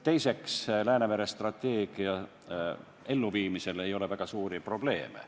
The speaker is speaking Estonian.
Teiseks, Läänemere strateegia elluviimisel ei ole olnud väga suuri probleeme.